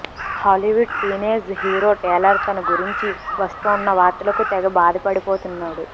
Hollywood teenage hero Taylor తన గురించి వస్తోన్న వార్తలకు తెగ బాధపడిపోతున్నాడు